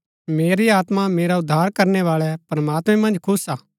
मेरी आत्मा मेरा उद्धार करनै बाळै प्रमात्मैं मन्ज खुश हा